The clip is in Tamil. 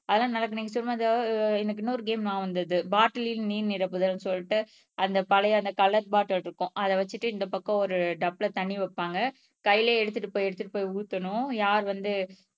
அதெல்லாம் நடக்குது நீங்க சும்மா எனக்கு இன்னொரு கேம் நியாபகம் வந்தது பாட்டில்லில் நீர் நிரப்புதல்ன்னு சொல்லிட்டு அந்த பழைய அந்த கலர் பாட்டில் இருக்கும் அத வச்சிட்டு இந்தப் பக்கம் ஒரு டப்ல தண்ணி வைப்பாங்க கையில எடுத்துட்டு போய் எடுத்துட்டு போய் ஊத்தணும் யார் வந்து